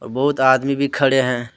बहुत आदमी भी खड़े हैं।